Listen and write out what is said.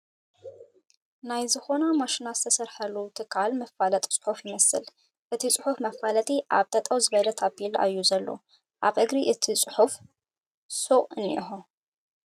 ናይ ዝኾና ማሽናት ዝስረሓሉ ትካል መፋለጢ ፅሑፍ ይመስል፣ እቲ ፅሑፍ መፋለጢ ኣብ ጠጠው ዝበለ ታፒላ እዩ ዘሎ ፡ ኣብ እግሪ እት ፅሑፍ ስ.ቑ እንሄዎ ።